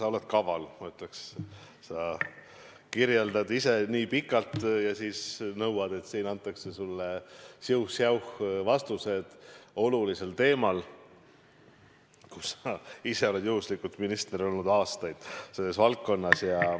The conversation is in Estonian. Sa oled kaval, ma ütleks, sa kirjeldad ise nii pikalt ja siis nõuad, et siin antaks sulle siuh-säuh vastus olulisel teemal, kusjuures sa ise oled juhuslikult olnud aastaid minister selles valdkonnas.